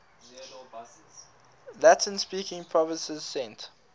latin speaking provinces sent